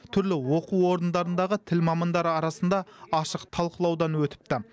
түрлі оқу орындарындағы тіл мамандары арасында ашық талқылаудан өтіпті